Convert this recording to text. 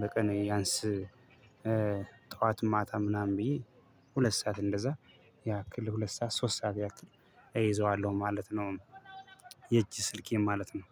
በቀን ቢያንስ ጠዋት ማታ ምናምን ብዬ ሁለት ሰዓት እንደዛ ያክል ሁለት ሰዓት ሶስት ሰዓት ያክል እይዘዋለሁ ማለት ነው። የእጅ ስልኬን ማለት ነው።